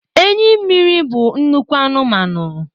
Enyi mmiri bụ nnukwu anụmanụ.